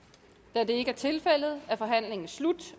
da det ikke er tilfældet er forhandlingen slut